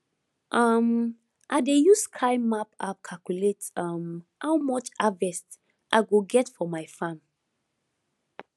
um i dey use sky map app calculate um how much harvest i go get for my farm